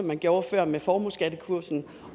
man gjorde før med formueskattekursen